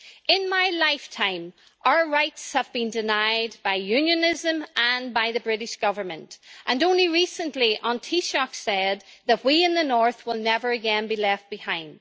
In my lifetime, our rights have been denied by Unionism and by the British government, and only recently the Taoiseach said that we in the North will never again be left behind.